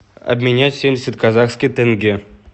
обменять семьдесят казахских тенге